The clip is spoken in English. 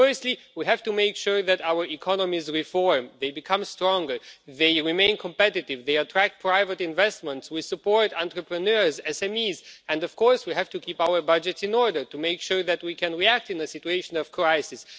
Firstly, we have to make sure that our economies reform, that they become stronger, they remain competitive, they attract private investment, that we support entrepreneurs, SMEs, and of course we have to keep to our budgets in order to make sure that we can react in a situation of crisis.